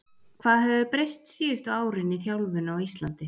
Hvað hefur breyst síðustu árin í þjálfun á Íslandi?